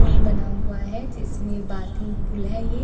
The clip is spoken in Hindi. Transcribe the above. पुल बना हुआ है जिसमें बाथिंग पुल है ये।